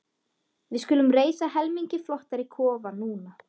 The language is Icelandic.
Við skulum reisa helmingi flottari kofa núna.